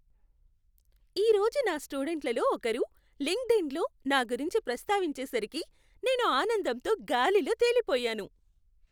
ఈ రోజు నా స్టూడెంట్లలో ఒకరు లింక్డ్ఇన్లో నా గురించి ప్రస్తావించేసరికి నేను ఆనందంతో గాలిలో తెలిపోయాను.